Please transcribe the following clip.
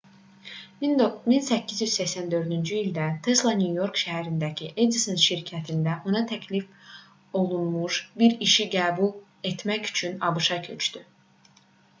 1884-cü ildə tesla nyu-york şəhərindəki edison şirkətində ona təklif olunmuş bir işi qəbul etmək üçün abş-a köçdü